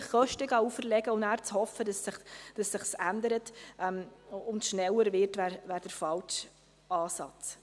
Einfach Kosten aufzuerlegen und zu hoffen, dass sich dies ändert oder schneller wird, ist der falsche Ansatz.